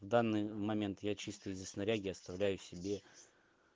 в данный момент я чисто здесь снаряги оставляю себе